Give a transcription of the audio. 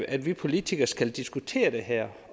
at vi politikere skal diskutere det her